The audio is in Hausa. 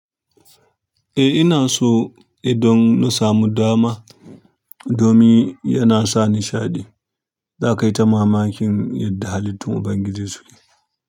Eh ina so, eh don na samu dama, domin yana sa nishaɗi. Zakayita mamakin yadda halittun Ubangiji suke.